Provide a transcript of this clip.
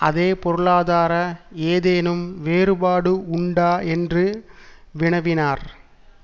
அதே பொருளாதார ஏதேனும் வேறுபாடு உண்டா என்று வினவினார்